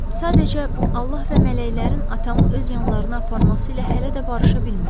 Sadəcə Allah və mələklərin atamı öz yanlarına aparması ilə hələ də barışa bilmirəm.